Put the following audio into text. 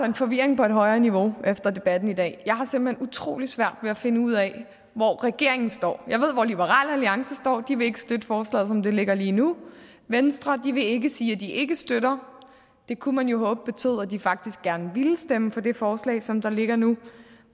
en forvirring på et højere niveau efter debatten i dag jeg har simpelt hen utrolig svært ved at finde ud af hvor regeringen står jeg ved hvor liberal alliance står de vil ikke støtte forslaget som det ligger lige nu venstre vil ikke sige at de ikke støtter det kunne man jo håbe betød at de faktisk gerne ville stemme for det forslag som der ligger nu